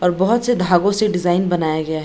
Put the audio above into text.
और बहुत से धागों से डिज़ाइन बनाया गया है।